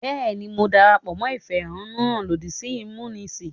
Bẹ́ẹ̀ ni, mo darapọ̀ mọ́ ìfẹ̀hánnúhàn lòdì sí ìmúnisì.